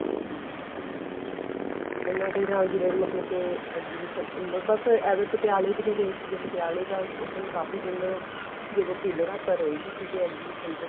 ਉਹਨਾ ਦੇ ਨਾਲ ਜਿਵੇਂ ਮਤਲਬ ਕੇ exhibition ਬੱਸ ਐਵੇਂ ਪਟਿਆਲੇ ਨੂੰ ਗਏ ਸੀਗੇ ਪਟਿਆਲੇ ਤਾਂ ਉੱਥੇ ਕਾਫ਼ੀ ਦਿਨ ਜਦੋਂ ਤਿੰਨ ਰਾਤਾਂ ਰਹੇ ਵੀ ਸੀਗੇ exhibition ਚ